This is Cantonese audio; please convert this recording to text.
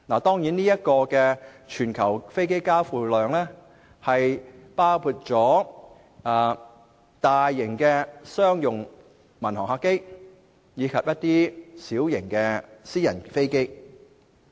當然，這全球飛機交付量包括大型商用民航客機及小型私人飛機。